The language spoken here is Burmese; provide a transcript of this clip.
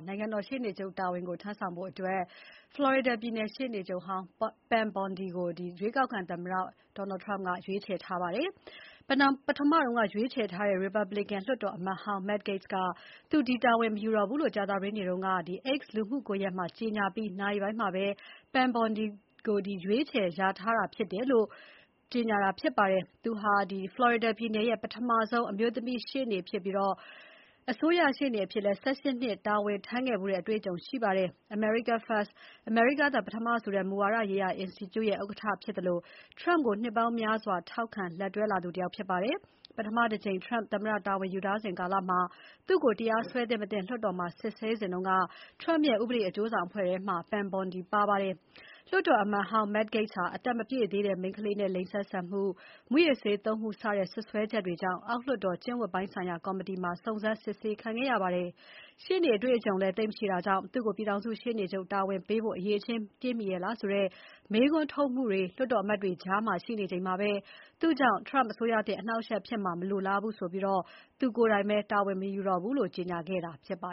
နိုင်ငံတော်ရှေ့နေချုပ်အဖြစ်ခန့်ဖို့ ဖလော်ရီဒါပြည်နယ် ရှေ့နေချုပ်ဟောင်း Pam Bondi ကိုရွေးကောက်ခံသမ္မတ Donald Trump က ရွေးချယ်လိုက်ပါတယ်။ ပထမရွေးချယ်ထားတဲ့ ရီပတ်ဘလစ်ကန် လွှတ်တော်အမတ်ဟောင်း Matt Gaetz က သူဒီတာဝန်ကို မယူတော့ဘူးလို့ကြာသပတေးနေ့က X လူမှုကွန်ရက်မှာ ကြေညာပြီး နာရီပိုင်းမှာပဲ Pam Bondi ကို ရွေးချယ်လျာထားခဲ့တာဖြစ်ပါတယ်။ သူဟာ ဖလော်ရီဒါပြည်နယ်ရဲ့ပထမဆုံးအမျိုးသမီးရှေ့နေချုပ်ဖြစ်ပြီး အစိုးရရှေ့နေအဖြစ် ၁၈ နှစ် တာဝန်ထမ်းခဲ့ဖူးတဲ့အတွေ့အကြုံရှိပါတယ်။ America First အမေရိကားသာ ပထမဆိုတဲ့ မူဝါဒရေးရာ အင်စတီကျုရဲ့ ဥက္ကဋ္ဌဖြစ်သလိုTrump ကိုနှစ်ပေါင်းများစွာ ထောက်ခံ လက်တွဲလာသူတယောက်ဖြစ်ပါတယ်။ ပထမတကြိမ် Trump သမ္မတတာဝန်ယူစဉ် ကာလမှာ သူ့ကိုတရားစွဲသင့်မသင့်လွှတ်တော်မှာ စစ်ဆေးစဉ်က Trump ရဲ့ ဥပဒေအကျိုးဆောင်အဖွဲ့ ထဲမှာ Pam Bondi ပါဝင်ခဲ့ပါတယ်။ လွှတ်တော်အမတ်ဟောင်း Matt Gaetz ဟာ အသက်မပြည့်သေးတဲ့ မိန်းခလေးနဲ့ လိင်ဆက်ဆံမှု၊ မူးယစ်ဆေးသုံးမှု စတဲ့စွပ်စွဲချက်တွေကြောင့် အောက်လွှတ်တော် ကျင့်ဝတ်ပိုင်းဆိုင်ရာကော်မတီမှာ စုံစမ်းစစ်ဆေးခံခဲ့ရပါတယ်။ ရှေ့နေအတွေ့အကြုံလည်း သိပ်မရှိတာကြောင့် သူ့ကို ပြည်ထောင်စု ရှေ့နေချုပ်တာဝန်ပေးဖို့ အရည်အချင်းပြည့်မီရဲ့လားဆိုတဲ့ မေးခွန်းထုတ်မှုတွေ လွှတ်တော်အမတ်တွေ ကြား ရှိနေချိန်မှာ သူ့ကြောင့် Trump အစိုးရသစ် အနှောင့်အယှက်ဖြစ်မှာမလိုလားဘူးဆိုပြီး သူကိုယ်တိုင်ပဲ တာဝန်မယူတော့ဘူးလို့ ကြေညာခဲ့တာပါ